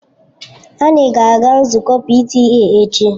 Anyị ga-aga nzukọ PTA echi.